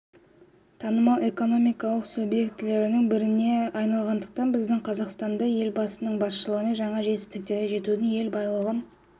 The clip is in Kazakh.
танымал экономикалық субъектілерінің біріне айналғандықтан біздің қазақстан да елбасының басшылығымен жаңа жетістіктерге жетудің ел байлығын